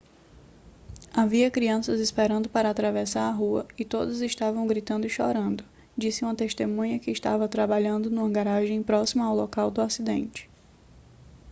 havia crianças esperando para atravessar a rua e todas estavam gritando e chorando disse uma testemunha que estava trabalhando numa garagem próxima ao local do acidente